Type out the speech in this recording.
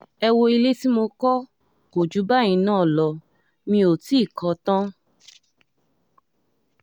ẹ wọ ilé tí mo kọ́ kò jù báyìí náà lọ mi ò tì í kọ́ ọ tán